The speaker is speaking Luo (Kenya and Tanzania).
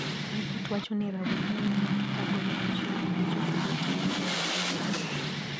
Lipot wacho ni rawere nomaki kagoyo pichni maricho kendo timo timbe njore e boma.